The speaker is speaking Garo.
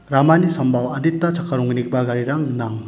ramani sambao adita chakka ronggnigipa garirang gnang.